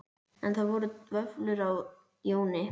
En það voru vöflur á Jóni